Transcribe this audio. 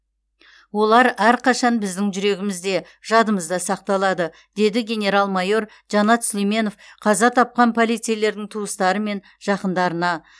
олар әрқашан біздің жүрегімізде жадымызда сақталады деді генерал майор жанат сүлейменов қаза тапқан полицейлердің туыстары мен жақындарына